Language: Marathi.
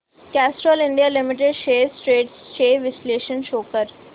Castrol India limited shares trends चे विश्लेषण शो कर